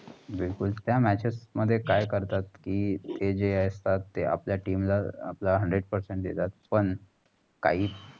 बिलकुल. त्या matchess काय करतात. कि ते जे असतात आपला team ला आपला hundred percent देतात. पण काही